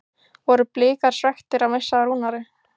Voru Blikar svekktir að missa af Rúnari?